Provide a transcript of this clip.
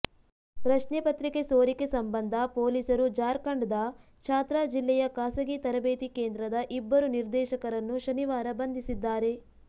ಪ್ರಶ್ನೆಪತ್ರಿಕೆ ಸೋರಿಕೆ ಸಂಬಂಧ ಪೊಲೀಸರು ಜಾರ್ಖಂಡ್ದ ಛಾತ್ರಾ ಜಿಲ್ಲೆಯ ಖಾಸಗಿ ತರಬೇತಿ ಕೇಂದ್ರದ ಇಬ್ಬರು ನಿರ್ದೇಶಕರನ್ನು ಶನಿವಾರ ಬಂಧಿಸಿದ್ದಾರೆ